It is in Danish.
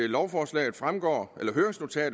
lovforslaget fremgår